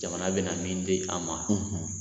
Jamana bɛ na min di an ma